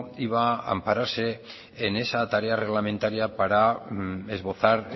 iba a ampararse en esa tarea reglamentaria para esbozar